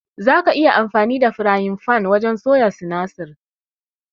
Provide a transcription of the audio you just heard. Zaka iya amfani da firayin fan wajen soya sinasir.